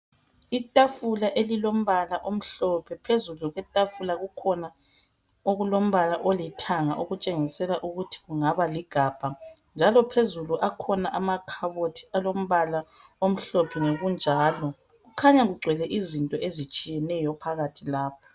Itafula elilombala omhlophe phezulu kwetafula kukhona okulombala olithanga okutshengisela ukuthi kungaba ligabha njalo phezulu akhona amakhabothi alombala omhlophe ngokunjalo, kukhanya kugcwele izinto ezitshiyeneyo phakathi lapho.